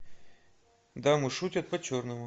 дамы шутят по черному